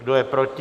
Kdo je proti?